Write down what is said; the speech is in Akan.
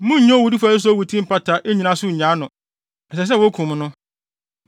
“ ‘Munnnye owudifo a ɛsɛ sɛ owu no ti mpata, nnyina so nnyaa no. Ɛsɛ sɛ wokum no.